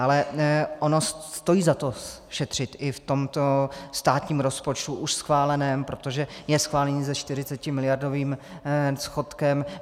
Ale ono stojí za to šetřit i v tomto státním rozpočtu už schváleném, protože je schválen se 40miliardovým schodkem.